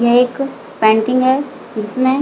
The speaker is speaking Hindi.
ये एक पेंटिंग है इसमें--